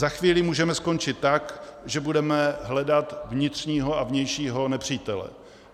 Za chvíli můžeme skončit tak, že budeme hledat vnitřního a vnějšího nepřítele.